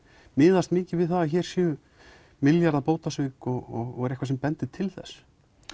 miðast mikið við það að hér séu milljarða bótasvik og er eitthvað sem bendir til þess